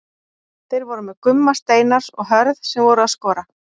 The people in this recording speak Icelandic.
Þeir voru með Gumma Steinars og Hörð sem voru að skora.